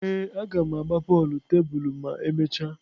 Ee, a ga m agba bọọlụ tebulu ma emechaa.